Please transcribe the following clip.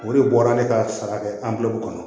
O de bɔra ne ka sara kɛ an bɛ kɔnɔ